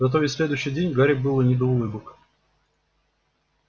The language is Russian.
зато весь следующий день гарри было не до улыбок